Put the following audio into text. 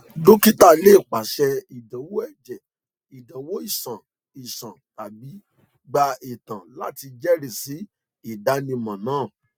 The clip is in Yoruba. dọ́kìtà lè pàṣẹ ìdánwò ẹ̀jẹ̀ ìdánwò iṣan iṣan tàbí gba itan láti jẹ́rìísí ìdánimọ̀ náà